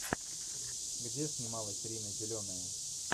где снималась рина зеленая